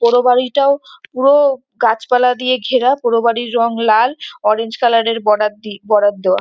পোড়ো বাড়িটাও পুরো গাছপালা দিয়ে ঘেরা পোড়ো বাড়ির রং লাল অরেঞ্জ কালার এর বর্ডার দিয়ে দেওয়া।